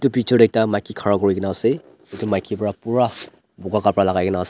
teacher ekta maiki khara kuri ke na ase etu maiki para pura boga kapra lagai ke na ase.